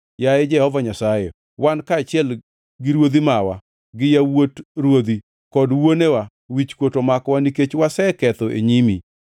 Yaye Jehova Nyasaye, wan kaachiel gi ruodhi mawa, gi yawuot ruodhi, kod wuonewa, wichkuot omakowa nikech waseketho e nyimi.